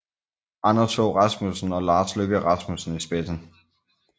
Anders Fogh Rasmussen og Lars Løkke Rasmussen i spidsen